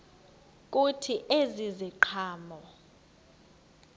kuthi ezi ziqhamo